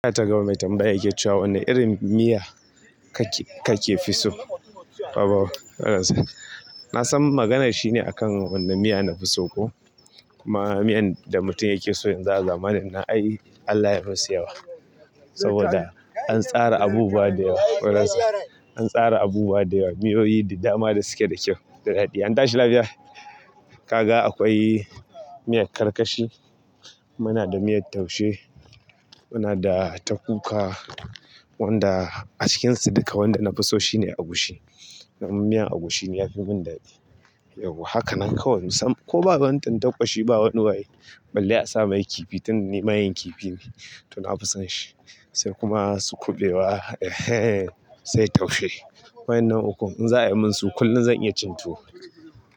Na ta gama mai tambaya yake cewa wanne irin miya kake kake fi so? Abuuu! Holas. Na san maganar shine a kan wanne miya na fi so ko? Kuma miyan da mutum yake so yanzu a zamanin nan ai Allah ya musu yawa. Saboda an tsara abubuwa da yawa. Holas. An tsara abubuwa da yawa, miyoyi da dama da suke da kyau da daɗi. An tashi lafiya. Kaga akwai miyar karkashi, muna da miyar taushe, muna da ta kuka, wanda a cikinsu dukka wanda na fi so shine agushi. Danni miyan agushi ni yafi mun daɗi. Yawwa haka nan kawai mun san, ko babu wani tantaɓa shi ba wani waye. Ballai asa maye kifi tun ni mayen kifi ne to na fi son shi. Sai kuma su kuɓewa, eh he! Sai taushe. Waƴannan ukun in za ayimin su kullum zan iya cin tuwo.